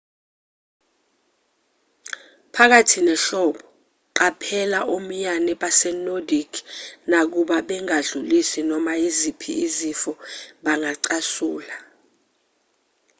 phakathi nehlobo qaphela omiyane base-nordic nakuba bengadlulisi noma iziphi izifo bangacasula